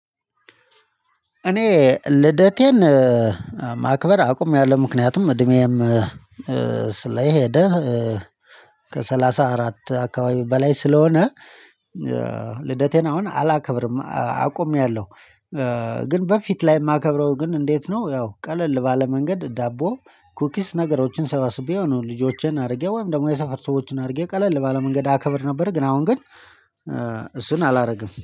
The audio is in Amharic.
እኔ ልደቴን ማክበር አቁሜአለው ምክንያቱም እድሜም ከሰላሳ አራት አካባቢ በላይ ስለሆነ ልደቴን አሁን አላከብርም አቁሜአለሁ። ግን በፊት ላይ የማከብረው ግን እንዴት ነው ያው ቀለል ባለ መንገድ ዳቦ ኩኪስ ነገሮችን ሰባስቤ ሆኖ ልጆቼን አሪጌ ወይም ደግሞ የሰፈር ሰዎችን አሪጌ ቀለል ባለ መንገድ አከብር ነበር ግን አሁን ግን እሱን አላረግም